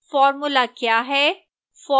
formula क्या है